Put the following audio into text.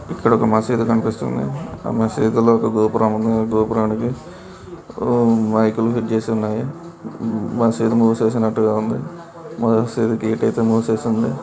ఇక్కడ ఒక మసీదు కనిపిస్తుంది ఆ మసీదులో ఒక గోపురం ఉంది ఆ గోపురానికి మై కులు ఫిట్ చేసి ఉన్నాయి మసీదు మూసేసినట్టుగా ఉంది ఆ మసీదుకి గేటు మూసేసి ఉంది.